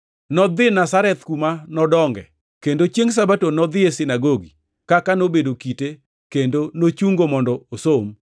Nodhi Nazareth kuma nodonge, kendo chiengʼ Sabato nodhi e sinagogi, kaka nobedo kite kendo nochungo mondo osom.